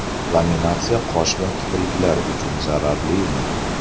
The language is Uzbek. Laminatsiya qosh va kipriklar uchun zararlimi?